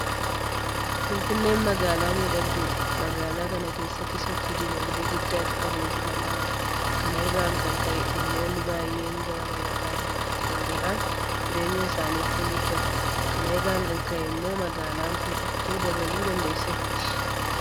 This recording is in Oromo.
Finfinneen magaalaa miidhagduudha. Magaalaa kana keessatti sochii diinagdee guddaatu adeemsifamaa oola. Kana irraa kan ka'e namoonni baay'een gara magaalaa kanaatti imaluudhaan jireenya isaanii fooyyeffatu. Kana irraa kan ka'e immoo magaalaan kun ittuu dabaluu dandeesseetti.